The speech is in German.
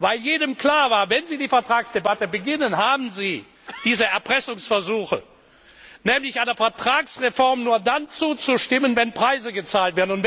weil jedem klar war Wenn sie die Vertragsdebatte beginnen, haben sie diese Erpressungsversuche, nämlich einer Vertragsreform nur dann zuzustimmen, wenn Preise gezahlt werden.